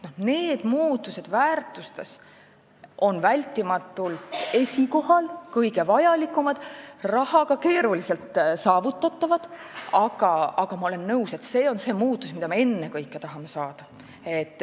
Need muutused väärtustes on vältimatult esikohal, kõige vajalikumad, need on rahaga keeruliselt saavutatavad, aga ma olen nõus, et see on see muutus, mida me ennekõike tahame saavutada.